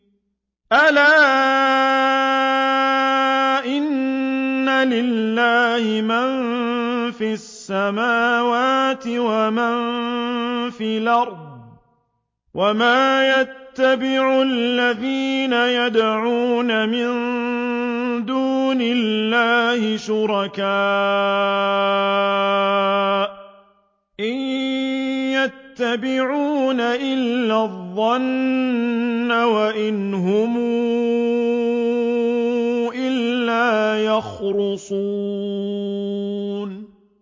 أَلَا إِنَّ لِلَّهِ مَن فِي السَّمَاوَاتِ وَمَن فِي الْأَرْضِ ۗ وَمَا يَتَّبِعُ الَّذِينَ يَدْعُونَ مِن دُونِ اللَّهِ شُرَكَاءَ ۚ إِن يَتَّبِعُونَ إِلَّا الظَّنَّ وَإِنْ هُمْ إِلَّا يَخْرُصُونَ